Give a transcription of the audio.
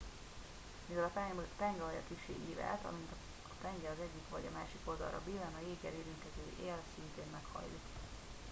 mivel a penge alja kissé ívelt amint a penge az egyik vagy a másik oldalra billen a jéggel érintkező él szintén meghajlik